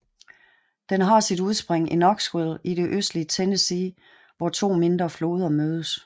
Den har sit udspring i Knoxville i det østlige Tennessee hvor to mindre floder mødes